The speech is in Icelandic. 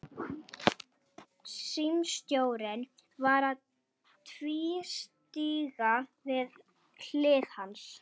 Símstjórinn var að tvístíga við hlið hans.